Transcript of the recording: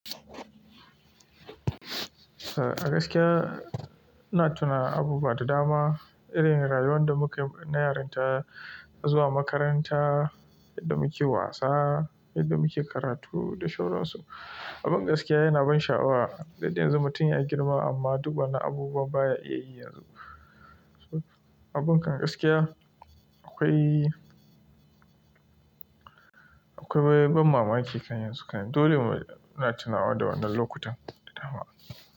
Eh, gaskiya ina tuna abubuwa da dama, irin rayuwar da muke na yarinta, zuwa makaranta, yadda muke wasa, yadda muke karatu da shaura su. Abin gaskiya yana ban sha'awa, yadda yanzu mutum ya girma amma duba na abubuwa baya iya yi yanzu. Abin kan gaskiya akwai akwai, akwai ban mamaki kan yanzu. Dole mu na tunawa da wannan lokutan da dama.